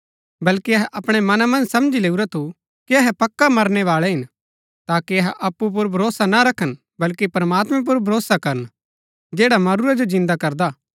बल्कि अहै अपणै मना मन्ज समझी लैऊरा थु कि अहै पक्का मरनै बाळै हिन ताकि अहै अप्पु पुर भरोसा ना रखन बल्कि प्रमात्मैं पुर भरोसा करन जैडा मरूरै जो जिन्दा करदा हा